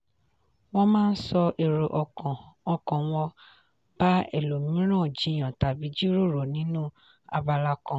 wọ́n máa sọ èrò ọkàn ọkàn wọn bá ẹlòmíràn jiyàn tàbí jíròrò nínú abala kan.